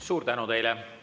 Suur tänu teile!